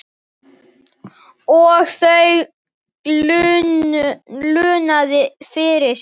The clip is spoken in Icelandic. Og það launaði fyrir sig.